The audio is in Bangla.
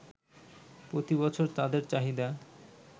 প্রতি বছর তাদের চাহিদা